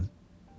Ver dedi.